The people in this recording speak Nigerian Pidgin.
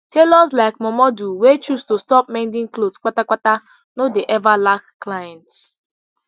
tailors like momudu wey choose to stop mending clothes patapata no dey ever lack clients